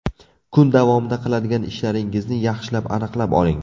Kun davomida qiladigan ishlaringizni yaxshilab aniqlab oling.